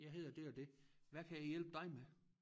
Jeg hedder det og det hvad kan jeg hjælpe dig med